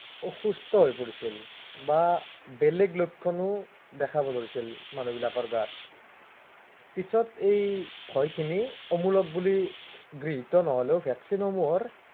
অসুস্থ হৈ পৰিছিল বা, বেলেগ লক্ষণো দেখাব ধৰিছিল, মানহবিলাকৰ গাত। পিছত এই ভয়খিনি অমুলক বুলি গৃহিত নহলেও vaccine ৰ সমুহৰ